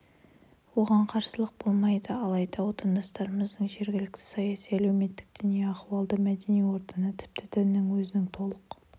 оған қарсылық болмайды алайда отандастарымыздың жергілікті саяси-әлеуметтік діни ахуалды мәдени ортаны тіпті діннің өзін толық